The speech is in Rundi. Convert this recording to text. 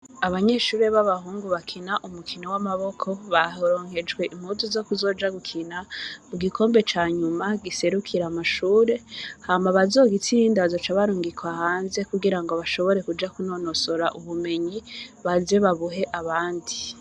Abanyeshuri baba hungu barakina umukino w'amaboko baronkejwe impuzu zo ku zoja gukina mu gikombe ca nyuma giserukira amashure hama abazogitsinda bazoca barungikwa hanze ku girango bashobore kuja ku nonosora ubumenyi baze babuhe abandi.